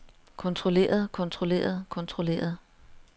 kontrolleret kontrolleret kontrolleret